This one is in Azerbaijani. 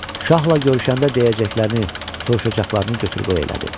Şahla görüşəndə deyəcəklərini, soruşacaqlarını götür-qoy elədi.